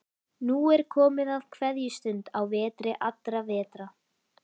Nú er komið að kveðjustund á vetri allra vetra.